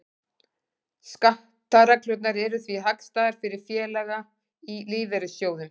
Skattareglurnar eru því hagstæðar fyrir félaga í lífeyrissjóðum.